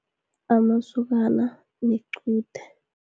Amasokana nequde.